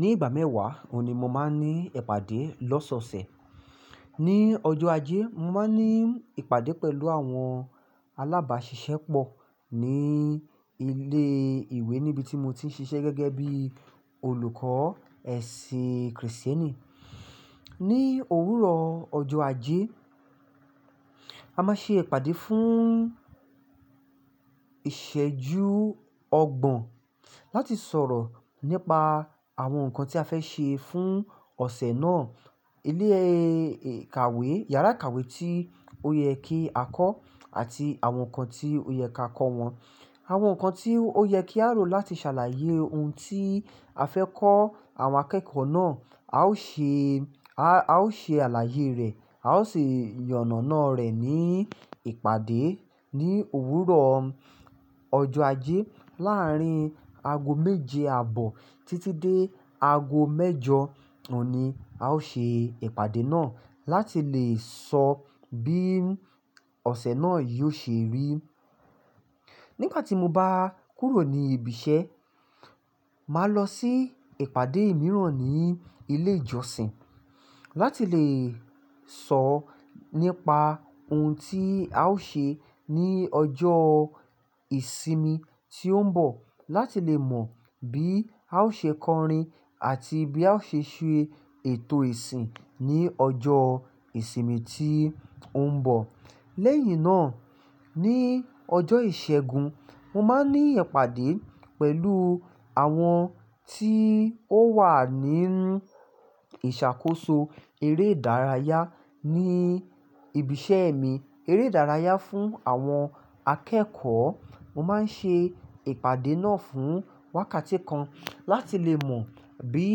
Ní ìgbà mẹ́wàá, òun ni mo máa ń ní ìpàdé lọ́sọ̀ọ̀sẹ̀. Ni ọjọ́ ajé, mo máa ń ní ìpàdé pẹ̀lú àwọn alábàṣiṣẹ́ pọ̀ ní ilé ìwé níbi tí mo ti ń ṣiṣẹ́ gẹ́gẹ́ bí olùkọ́ ẹ̀sìn kìrìsìtẹ́nì. Ni òwúrọ̀ ọjọ́ ajé, a máa ṣe ìpàdé fún ìṣẹ́jú ọgbọ̀n láti sọ̀rọ̀ nípa àwọn nǹkan tí a fẹ́ ṣe fún ọ̀sẹ̀ náà. Ilé ìkàwé, ìyàrá ìkàwé tí ó yẹ kí a kọ́ àti àwọn nǹkan tí ó yẹ kí a kọ́ wọn, àwọn nǹkan tí ó yẹ kí a rò láti ṣàlàyé ohun tí a fẹ́ kọ́ àwọn akẹ́kọ̀ọ́ náà. A ó ṣe, a ó ṣe àlàyé rẹ̀, a ó sì yànàná rẹ̀ ní ìpàdé ní òwúrọ̀ ọjọ́ ajé láàrín ago méje àbọ̀ títí dé ago mẹ́jọ òní. A ó ṣe ìpàdé náà láti lè sọ bí ọ̀sẹ̀ náà yóò ṣe rí. Nígbà tí mo bá kúrò ní ibiṣẹ́, màá lọ sí ìpàdé mìíràn ní ilé ìjọsìn láti lè sọ nípa ohun tí a ó ṣe ní ọjọ́ ìsinmi tí ó ń bọ̀. Láti lè mọ̀ bí a ó ṣe kọrin àti bí a ó ṣe ṣe ètò ìsìn ní ọjọ́ ìsinmi tí ó ń bọ̀. Lẹ́yìn náà, ní ọjọ́ ìṣẹ́gun, mo máa ń ní ìpàdé pẹ̀lú àwọn tí ó wà ní ìṣàkóso eré ìdárayá ní ibiṣẹ́ mi. Eré ìdárayá fún àwọn akẹ́kọ̀ọ́. Mo máa ń ṣe ìpàdé náà fún wákàtí kan láti lè mọ̀ bí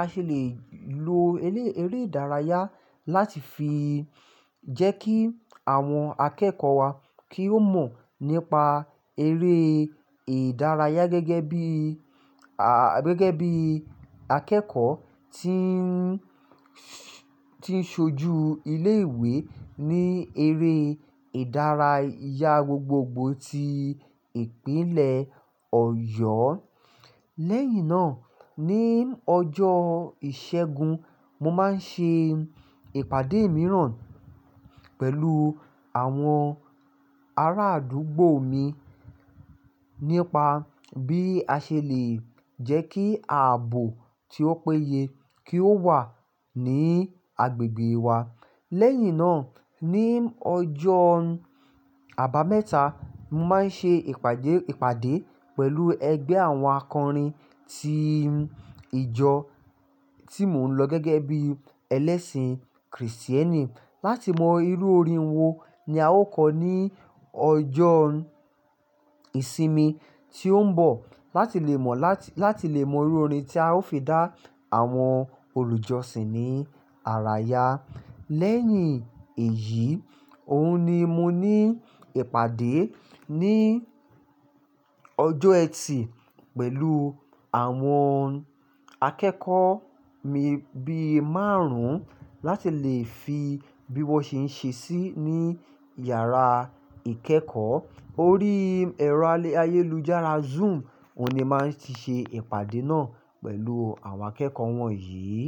a ṣe lè lo elé-eré ìdárayá láti fi jẹ́ kí àwọn akẹ́kọ̀ọ́ wa kí ó mọ̀ nípa eré ìdárayá gẹ́gẹ́ bí, à, gẹ́gẹ́ bí akẹ́kọ̀ọ́ tí ń, tí ń ṣojú ilé ìwé ní eré ìdárayá gbogbogbò ti ìpínlẹ̀ Ọ̀yọ́. Lẹ́yìn náà, ní ọjọ́ ìṣẹ́gun, mo máa ń ṣe ìpàdé mìíràn pẹ̀lú àwọn ará àdúgbò mi nípa bí a ṣe lè jẹ́ kí ààbò tí ó péye kí ó wà ní agbègbè wa. Lẹ́yìn náà, ní ọjọ́ àbámẹ́ta, mo máa ń ṣe ìpàdé, ìpàdé pẹ̀lú ẹgbẹ́ àwọn akọrin tí ìjọ tí mò ń lọ gẹ́gẹ́ bí ẹlẹ́sìn kìrìsìtẹ́nì láti mọ irú orin wo ni a ó kọ ní ọjọ́ ìsinmi tí ó ń bọ̀. Láti lè mọ̀ láti, láti lè mọ irú orin tí a ó fi dá àwọn olùjọsìn ní àrà ya. Lẹ́yìn èyí, òun ni mo ní ìpàdé ní ọjọ́ ẹtì pẹ̀lú àwọn akẹ́kọ̀ọ́ mi bí márùn-ún láti lè fi bí wọ́n ṣe ń ṣe sí ní ìyàrá ìkẹ́kọ̀ọ́. Orí ẹ̀rọ ayélujára Zoom òun ni màá ṣe ìpàdé náà pẹ̀lú àwọn akẹ́kọ̀ọ́ wọ̀nyí.